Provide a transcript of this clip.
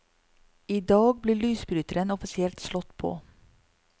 I dag blir lysbryteren offisielt slått på.